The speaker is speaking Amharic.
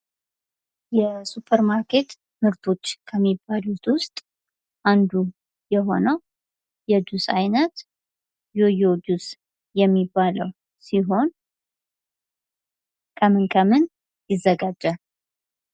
የሱፐር ማርኬት ምርቶች ከሚባሉት ውስጥ አንዱ የሆነው የጁስ አይነት ዮዮ ጁስ የሚባለው ሲሆን ከምን ከምን ይዘጋጃል?